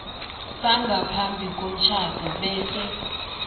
sangaphambi komtjhado bese